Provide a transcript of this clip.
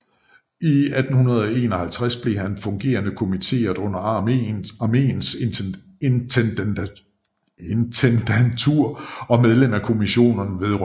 I 1851 blev han fungerende kommitteret under Armeens Intendantur og medlem af Kommissionen vedr